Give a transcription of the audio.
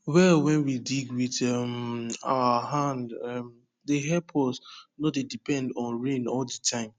well wen we dig wit um our hand um dey help us nor dey depend on rain all de time